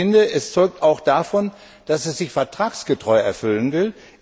Ich finde, es zeugt auch davon, dass es sie vertragsgetreu erfüllen will.